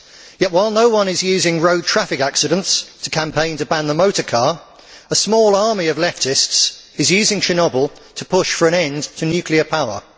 Yet, while no one is using road traffic accidents to campaign to ban the motor car, a small army of leftists is using Chernobyl to push for an end to nuclear power.